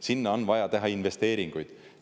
Sinna on vaja teha investeeringuid.